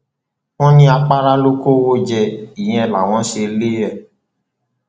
wọn ní àpárá ló kọwọ jẹ ìyẹn làwọn ṣe lé e